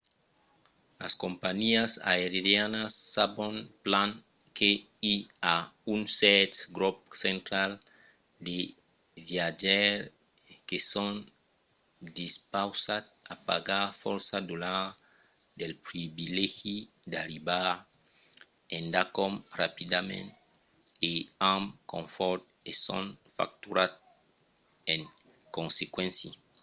las companhiás aerianas sabon plan que i a un cèrt grop central de viatjaires que son dispausats a pagar fòrça dolars pel privilegi d'arribar endacòm rapidament e amb confòrt e son facturats en consequéncia